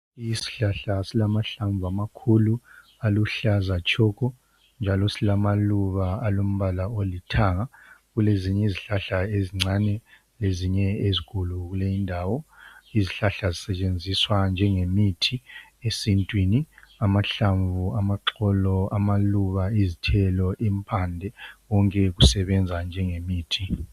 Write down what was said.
Isihlahla silamahlamvu amakhulu aluhlaza tshoko njalo silamaluba alombala olithanga. Kulezinye izihlahla ezincane lezinye ezikhulu kule indawo. Izihlahla zisetshenziswa njengemithi esintwini. Amahlamvu, amaxolo, amaluba, izthelo, impande konke kusebenza njengemithi.